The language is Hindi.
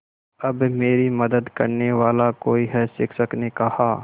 अब मेरी मदद करने वाला कोई है शिक्षक ने कहा